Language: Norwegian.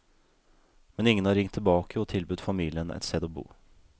Men ingen har ringt tilbake og tilbudt familien et sted å bo.